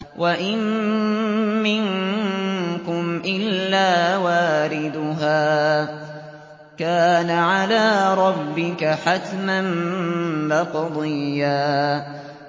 وَإِن مِّنكُمْ إِلَّا وَارِدُهَا ۚ كَانَ عَلَىٰ رَبِّكَ حَتْمًا مَّقْضِيًّا